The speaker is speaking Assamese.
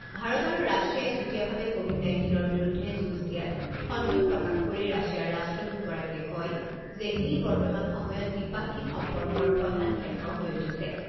ভাৰত আৰু ৰাছিয়াই যুটীয়াভাৱে ক’ভিড নাইণ্টিনৰ বিৰুদ্ধে যুঁজ দিয়াত সন্তোষ প্ৰকাশ কৰি ৰাছিয়াৰ ৰাষ্ট্ৰদূতগৰাকীয়ে কয় যে ই বৰ্তমান সময়ত দ্বিপাক্ষিক সম্পৰ্কৰ প্ৰধান ক্ষেত্ৰ হৈ উঠিছে।